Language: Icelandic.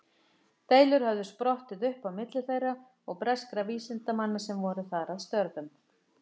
Deilur höfðu sprottið upp á milli þeirra og breskra vísindamanna sem voru þar að störfum.